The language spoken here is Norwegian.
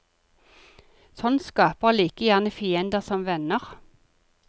Sånt skaper like gjerne fiender som venner.